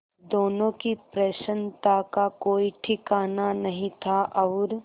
दोनों की प्रसन्नता का कोई ठिकाना नहीं था और